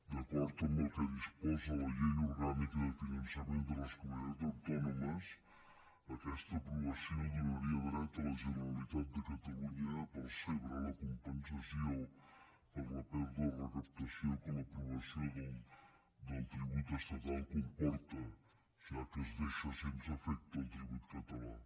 d’acord amb el que disposa la llei orgànica de finançament de les comunitats autònomes aquesta aprovació donaria dret a la generalitat de catalunya a percebre la compensació per la pèrdua de recaptació que l’aprovació del tribut estatal comporta ja que es deixa sense efecte el tribut català